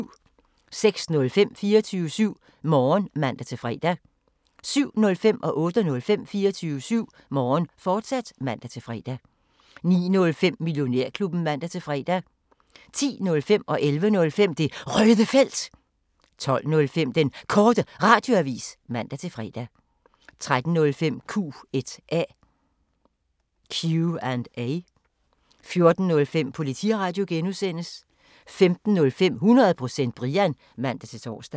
06:05: 24syv Morgen (man-fre) 07:05: 24syv Morgen, fortsat (man-fre) 08:05: 24syv Morgen, fortsat (man-fre) 09:05: Millionærklubben (man-fre) 10:05: Det Røde Felt 11:05: Det Røde Felt, fortsat 12:05: Den Korte Radioavis (man-fre) 13:05: Q&A 14:05: Politiradio (G) 15:05: 100% Brian (man-tor)